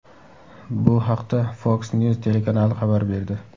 Bu haqda Fox News telekanali xabar berdi .